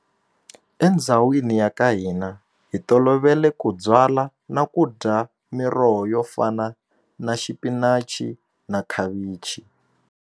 Endzhawini ya ka hina hi tolovele ku byala na ku dya miroho yo fana na xipinachi na khavichi.